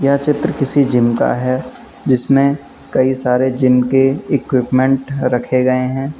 यह चित्र किसी जिम का है जिसमें कई सारे जिनके इक्विपमेंट रखे गए हैं।